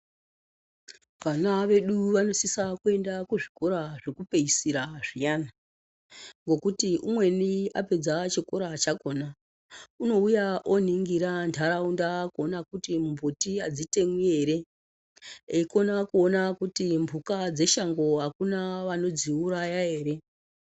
Vana vedu vanosisa kuenda ku zvikora zveku peesira zviyana ngekuti umweni apedza chikora chakona uno uya o ningira ndaraunda kuona kuti mbuti adzi temwi ere eyi kona kuona kuti mbuka dze shango akuna vanodzi uraya ere.